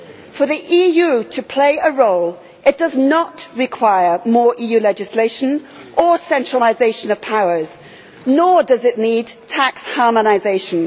For the EU to play a role does not require more EU legislation or centralisation of powers, nor does it need tax harmonisation.